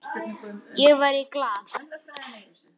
Ég var í Glað.